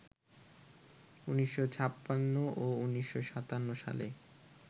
১৯৫৬ ও ১৯৫৭ সালে